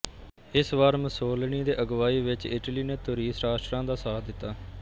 ਇਸ ਵਾਰ ਮੁਸੋਲਿਨੀ ਦੇ ਅਗਵਾਈ ਵਿੱਚ ਇਟਲੀ ਨੇ ਧੁਰੀ ਰਾਸ਼ਟਰਾਂ ਦਾ ਸਾਥ ਦਿੱਤਾ